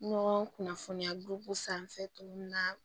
Ɲɔgɔn kunnafoniya sanfɛ cogo min na